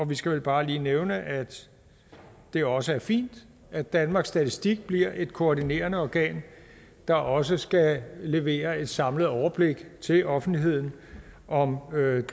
vi skal vel bare lige nævne at det også er fint at danmarks statistik bliver et koordinerende organ der også skal levere et samlet overblik til offentligheden om